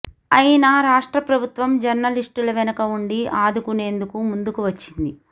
అయినా రాష్ట్ర ప్రభుత్వం జర్నలిస్టుల వెనుక ఉండి ఆదుకునేందుకు ముందుకు వచ్చింది